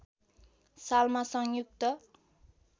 सालमा संयुक्त